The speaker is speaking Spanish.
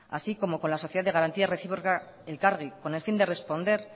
así como con la sociedad de garantía recíproca elkargi con el fin de responder